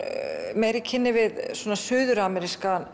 meira í kynni við